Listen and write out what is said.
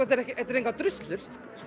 engar druslur